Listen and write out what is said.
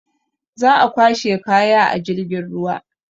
Za a kwashe kaya a jirgin ruwa.